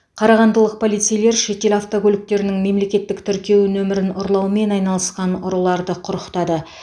қарағандылық полицейлер шетел автокөліктерінің мемлекеттік тіркеу нөмірін ұрлаумен айналысқан ұрыларды құрықтады